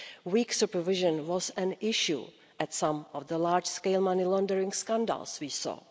Weak supervision was an issue in some of the large scale money laundering scandals we saw.